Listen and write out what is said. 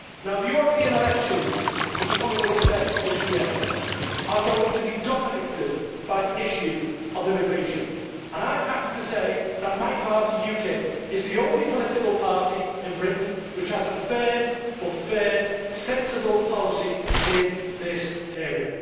The European elections which are coming later this year are going to be dominated by the issue of immigration, and I am happy to say that my party, UKIP, is the only political party in Britain which has a firm, but fair, sensible policy in this area.